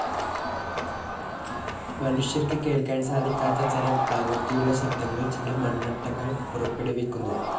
മനുഷ്യർക്ക് കേൾക്കാൻ സാധിക്കാത്ത തരം ആവൃത്തിയുള്ള ശബ്ദങ്ങൾ ചില മണ്ണട്ടകൾ പുറപ്പെടുവിക്കുന്നു.